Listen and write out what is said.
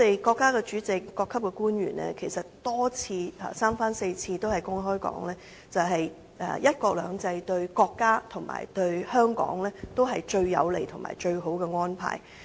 國家主席、各級官員三番四次指出，"一國兩制"對國家及香港是最有利、最好的安排。